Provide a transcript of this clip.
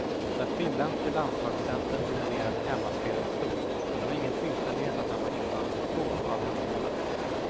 Den finländske landslagscentern dominerade hemmaspelet stort och det var ingen tillfällighet att han var inblandad i två av hemmamålen.